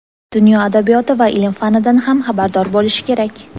dunyo adabiyoti va ilm-fanidan ham xabardor bo‘lishi kerak.